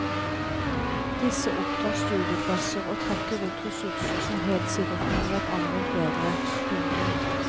Disse opptar studieplasser og trekker ut ressurser som helt sikkert kunne vært anvendt bedre. punktum